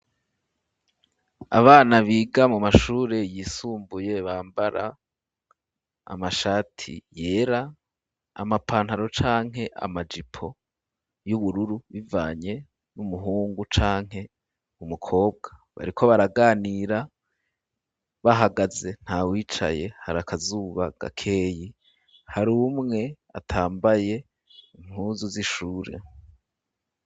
Abana biga mu mashure yisumbuye ,bambara amashati yera, amapantaro canke amajipo y'ubururu, bivanye n'umuhungu canke umukobwa bariko baraganira, bahagaze nta wicaye hari akazuba gakeyi, hari umwe atambaye impuzu z'ishure.